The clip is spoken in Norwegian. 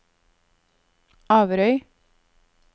Averøy